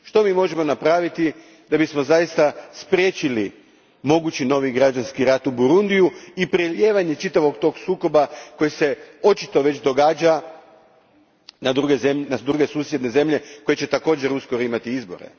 Što mi možemo učiniti da bismo zaista spriječili mogući novi građanski rat u Burundiju i prelijevanje čitavog tog sukoba, koji se očito već događa, na druge susjedne zemlje koje će također uskoro imati izbore?